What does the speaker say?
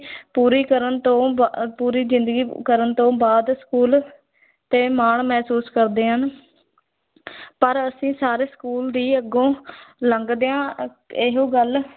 ਪੂਰੀ ਕਰਨ ਤੋਂ ਬਾ ਪੂਰੀ ਜ਼ਿੰਦਗੀ ਕਰਨ ਤੋਂ ਬਾਅਦ school ਤੇ ਮਾਣ ਮਹਿਸੂਸ ਕਰਦੇ ਹਨ ਪਰ ਅਸੀਂ ਸਾਰੇ school ਦੀ ਅੱਗੋਂ ਲੰਘਦਿਆਂ ਇਹੋ ਗੱਲ